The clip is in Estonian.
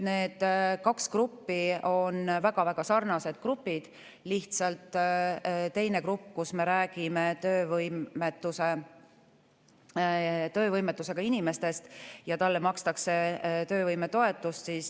Need kaks gruppi on väga sarnased grupid, lihtsalt teise grupi puhul me räägime töövõimetusega inimestest ja neile makstakse töövõimetoetust.